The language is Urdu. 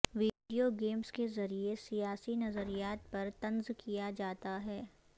ویڈیو گیمز کے ذریعے سیاسی نظریات پر طنز کیا جاتا ہے